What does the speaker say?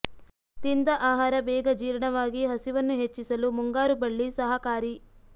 ತಿಂದ ಆಹಾರ ಬೇಗ ಜೀರ್ಣವಾಗಿ ಹಸಿವನ್ನು ಹೆಚ್ಚಿಸಲು ಮುಂಗಾರು ಬಳ್ಳಿ ಸಹಾಕಾರಿ